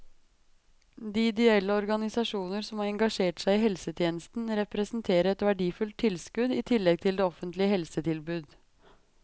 De ideelle organisasjoner som har engasjert seg i helsetjenesten representerer et verdifullt tilskudd i tillegg til det offentlige helsetilbud.